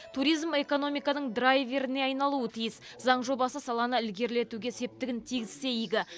туризм экономиканың драйверіне айналуы тиіс заң жобасы саланы ілгерілетуге септігін тигізсе игі